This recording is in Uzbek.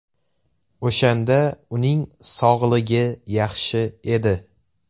O‘shanda uning sog‘ligi yaxshi edi.